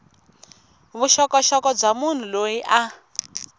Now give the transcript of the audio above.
vuxokoxoko bya munhu loyi a